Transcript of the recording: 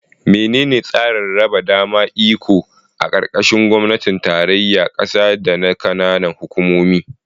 Menene tsarin raba dama iko a karkashin gwamnatin tarayyar kasa da na kananan hukumomi?